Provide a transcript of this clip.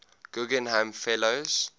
guggenheim fellows